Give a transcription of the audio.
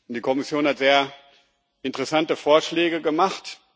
Die Kommission hat sehr interessante Vorschläge gemacht.